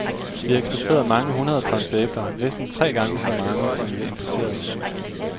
Vi eksporterede mange hundrede tons æbler, næsten tre gange så mange, som vi importerede.